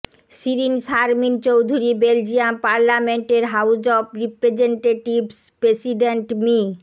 Shirin Sharmin Chowdhury Belgium পার্লামেন্টের house of representatives president me